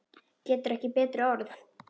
Getur ekki betri orðið.